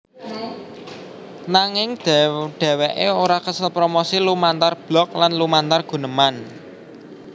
Nanging dhèwèké ora kesel promosi lumantar blog lan lumantar guneman